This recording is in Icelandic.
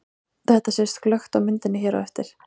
Þetta sést glöggt á myndinni hér á eftir.